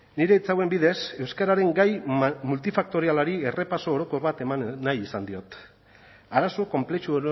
nire hitz hauen bidez euskararen gai multifaktorialari errepaso orokor bat eman nahi izan diot arazo konplexu